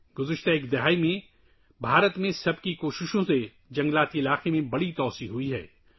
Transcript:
پچھلی دہائی میں، سب کی کوششوں سے، ہندوستان میں جنگلات کے رقبے میں بے مثال توسیع ہوئی ہے